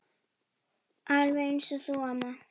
Alveg eins og þú, amma.